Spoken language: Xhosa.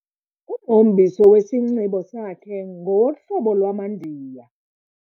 Umhombiso wesinxibo sakhe ngowohlobo lwamaNdiya.